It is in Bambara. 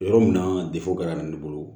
Yɔrɔ min na garannen bolo